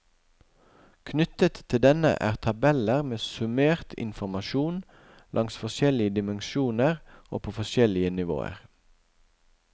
Knyttet til denne er tabeller med summert informasjon langs forskjellige dimensjoner og på forskjellige nivåer.